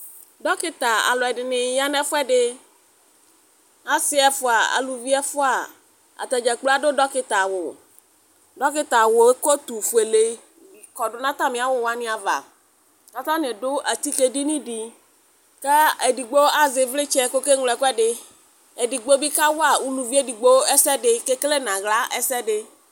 Dɔkita aalʋɛɖini ya n'ɛfuɛɖiAasi ɛfua, aalʋvibi ɛfuaAtadzakplo aɖʋ dɔkita awuDɔkita awuɛ lɛ kotʋ fuele cɔɖʋ n'atamiawuwani ava, k'atani ɖʋ atike' ɖiniɖi kʋ ɛdigbo azɛ ivlitsɛ k'ɔkeɣlo ɛkʋɛdiEɖigbobi k'awua ʋlʋvi eɖigbo esɛɖi k'ekele aɣla ɛsɛɖi